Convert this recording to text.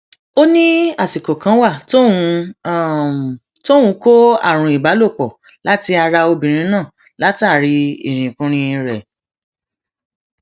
ó ní àsìkò kan wà tóun tóun kó àrùn ìbálòpọ láti ara obìnrin náà látàrí irinkurin rẹ